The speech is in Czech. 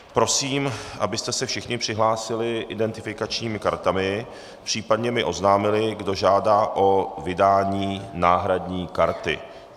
Prosím, abyste se všichni přihlásili identifikačními kartami, případně mi oznámili, kdo žádá o vydání náhradní karty.